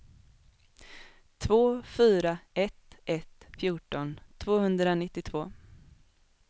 två fyra ett ett fjorton tvåhundranittiotvå